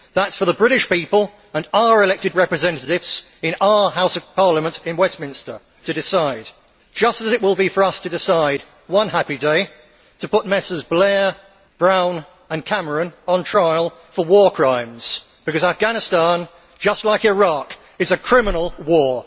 That is for the British people and our elected representatives in our House of Parliament in Westminster to decide, just as it will be for us to decide one happy day to put Messrs Blair, Brown and Cameron on trial for war crimes, because Afghanistan, just like Iraq, is a criminal war.